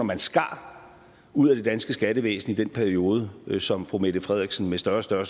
man skar ud af det danske skattevæsen i den periode som fru mette frederiksen med større større